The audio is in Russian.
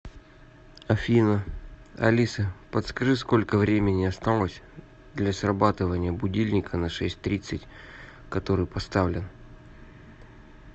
афина алиса подскажи сколько времени осталось для срабатывания будильника на шесть тридцать который поставлен